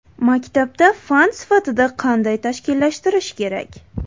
Maktabda fan sifatida qanday tashkillashtirish kerak?